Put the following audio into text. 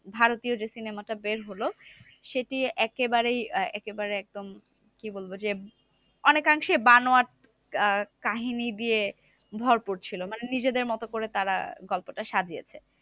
ভারতীয় যে cinema টা বের হলো, সেটি একেবারেই আহ একেবারে একদম কি বলবো যে অনেকাংশে বানানো কাহিনী দিয়ে ভর করছিলো। মানে নিজেদের মতো করে তারা গল্পটা সাজিয়েছে।